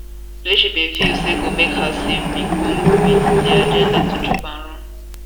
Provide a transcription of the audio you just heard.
wey she bin feel say go make her safe bin come wit di agenda to chop and run